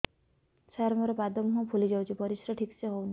ସାର ମୋରୋ ପାଦ ମୁହଁ ଫୁଲିଯାଉଛି ପରିଶ୍ରା ଠିକ ସେ ହଉନି